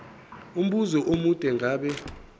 umbuzo omude ngabe